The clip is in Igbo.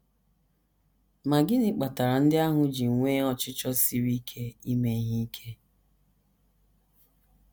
Ma gịnị kpatara ndị ahụ ji nwee ọchịchọ siri ike ime ihe ike?